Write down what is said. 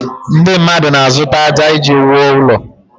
Ndị mmadụ na-azụta ájá iji wuo ụlọ